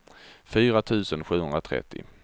fyra tusen sjuhundratrettio